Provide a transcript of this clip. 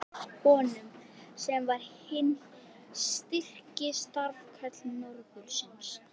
Hverju á ég þennan óvænta heiður að þakka?